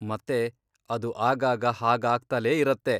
ಮತ್ತೆ ಅದು ಆಗಾಗ ಹಾಗಾಗ್ತಲೇ ಇರತ್ತೆ.